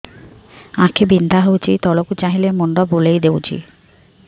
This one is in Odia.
ଆଖି ବିନ୍ଧା ହଉଚି ତଳକୁ ଚାହିଁଲେ ମୁଣ୍ଡ ବୁଲେଇ ଦଉଛି